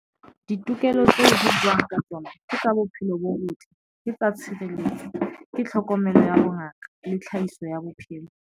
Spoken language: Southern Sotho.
Ditokelo tse buwang ka tsona ke tsa bophelo bo botle, ke tsa tshireletso, ke tlhokomelo ya bongaka le tlhahiso ya bophelo.